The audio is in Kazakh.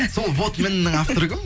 сол вот міненің авторы кім